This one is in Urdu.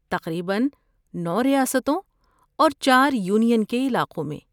تقریباً نو ریاستوں اور چار یونین کے علاقوں میں